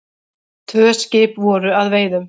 Tvö skip voru að veiðum.